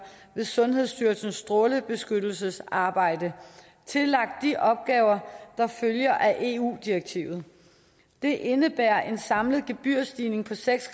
med sundhedsstyrelsens strålebeskyttelsesarbejde tillagt de opgaver der følger af eu direktivet det indebærer en samlet gebyrstigning på seks